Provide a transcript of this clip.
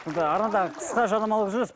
енді арнада қысқа жарнамалық үзіліс